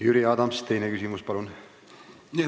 Jüri Adams, teine küsimus, palun!